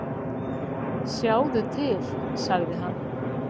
"""Sjáðu til, sagði hann."""